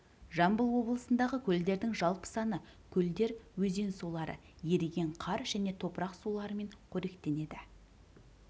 жамбыл облысындағы көлдердің жалпы саны көлдер өзен сулары еріген қар және топырақ суларымен қоректенеді